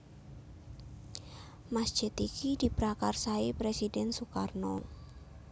Masjid iki diprakarsai Presiden Sukarno